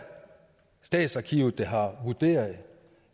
statens arkiver der har vurderet